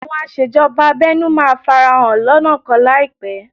Àwọn aṣèjọba abẹ́nú máa farahàn lọ́nà kan láìpẹ́